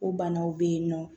O banaw be yen nɔ